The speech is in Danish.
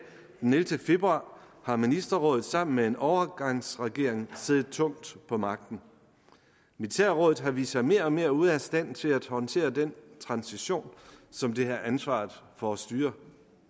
den ellevte februar har ministerrådet sammen med en overgangsregering siddet tungt på magten militærrådet har vist sig mere og mere ude af stand til at håndtere den transition som det har ansvaret for at styre